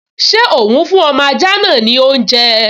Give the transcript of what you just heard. Ṣé òún fún ọmọ ajá náà ní oúnjẹ?